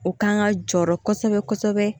O kan ka jɔɔrɔ kɔsɛbɛ kɔsɛbɛ